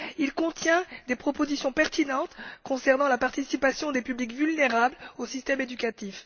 Il contient des propositions pertinentes concernant la participation des publics vulnérables au système éducatif.